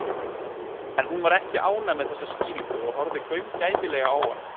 En hún var ekki ánægð með þessa skýringu og horfði gaumgæfilega á hann.